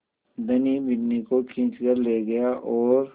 धनी बिन्नी को खींच कर ले गया और